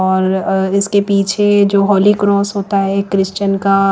और इसके पीछे जो होली क्रॉस होता है क्रिश्चन का--